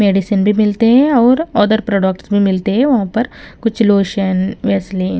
medicine भी मिलते हैं और अदर प्रोडक्ट्स में मिलते हैं वहां पर कुछ लोशन वैसलीन --